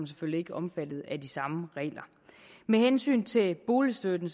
selvfølgelig ikke omfattet af de samme regler med hensyn til boligstøtten